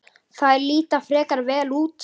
Þær líta frekar vel út.